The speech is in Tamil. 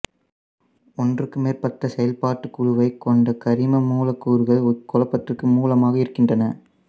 ஒன்றுக்கு மேற்பட்ட செயல்பாட்டுக் குழுவைக் கொண்ட கரிம மூலக்கூறுகள் இக்குழப்பத்திற்கு மூலமாக இருக்கின்றன